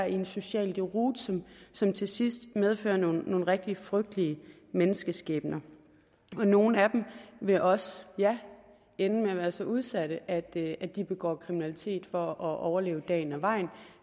i en social deroute som som til sidst medfører nogle rigtig frygtelige menneskeskæbner nogle af dem vil også ende med at være så udsatte at at de begår kriminalitet for at overleve dagen og vejen